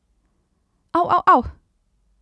Av, av, av!